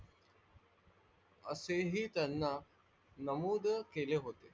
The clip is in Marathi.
असे ही त्यांना नमोद केले होते.